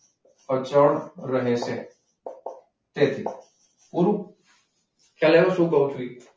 અચળ રહે છે. તેથી પુરુ? ખ્યાલ આયો શું કહું છું?